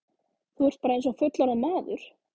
Þú ert bara eins og fullorðinn maður!